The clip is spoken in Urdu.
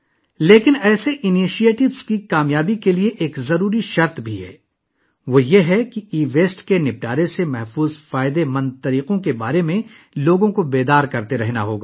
لیکن، اس طرح کے اقدامات کی کامیابی کے لیے ایک لازمی شرط بھی ہے یعنی لوگوں کو ای ویسٹ کو ٹھکانے لگانے کے محفوظ مفید طریقوں کے بارے میں آگاہ کرنا ہوگا